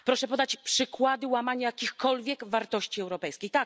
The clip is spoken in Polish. Proszę podać przykłady łamania jakichkolwiek wartości europejskich.